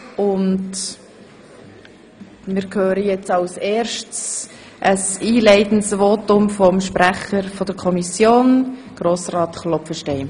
Nun hören wir als erstes ein einleitendes Votum des Kommissionssprechers, Grossrat Klopfenstein.